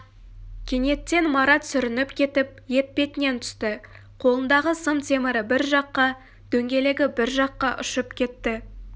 кенеттен марат сүрініп кетіп етпетінен түсті қолындағы сым темірі бір жаққа дөңгелегі бір жаққа ұшып кетті